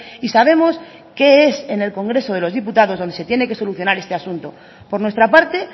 y sabemos qué es en el congreso de los diputados donde se tiene que solucionar este asunto por nuestra parte